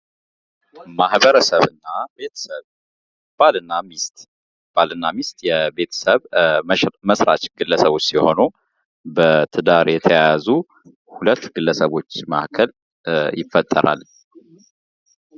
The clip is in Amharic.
ቤተሰብ የማህበረሰብ መሰረታዊ ክፍል በመሆን ለግለሰቦች የመጀመሪያውን የትምህርትና የድጋፍ ማዕከል ይሰጣል።